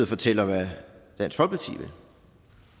fortæller hvad venstre vil